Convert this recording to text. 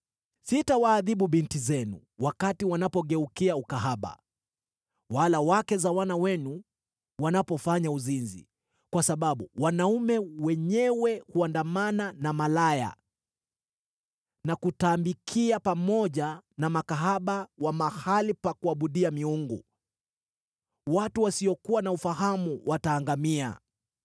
“Sitawaadhibu binti zenu wakati wanapogeukia ukahaba, wala wake za wana wenu wanapofanya uzinzi, kwa sababu wanaume wenyewe huandamana na malaya na kutambikia pamoja na makahaba wa mahali pa kuabudia miungu: watu wasiokuwa na ufahamu wataangamia!